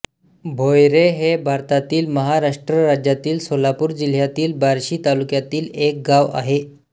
भोयरे हे भारतातील महाराष्ट्र राज्यातील सोलापूर जिल्ह्यातील बार्शी तालुक्यातील एक गाव आहे